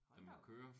Hold da op